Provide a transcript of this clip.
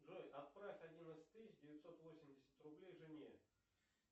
джой отправь одиннадцать тысяч девятьсот восемьдесят рублей жене